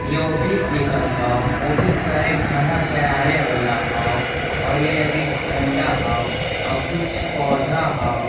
ये ऑफिस दिखत हौ ऑफिस के एक झंडा फहरावे वला हौ और एगीस झंडा हौ आव कुछ पौधा हौ।